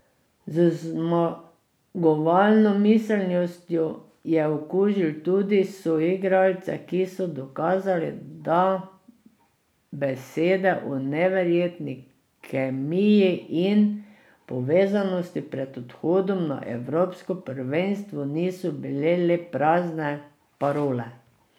Z zmagovalno miselnostjo je okužil tudi soigralce, ki so dokazali, da besede o neverjetni kemiji in povezanosti pred odhodom na evropsko prvenstvo niso bile le prazne parole.